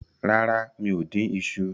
Rara, mi o din iṣu